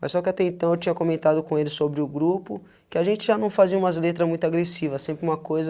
Mas só que até então eu tinha comentado com ele sobre o grupo, que a gente já não fazia umas letras muito agressivas, sempre uma coisa,